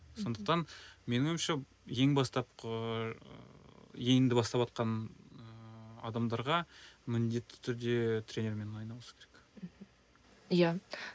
сондықтан менің ойымша ең бастапқы ы енді баставатқан ыыы адамдарға міндетті түрде тренермен айналысу керек мхм иә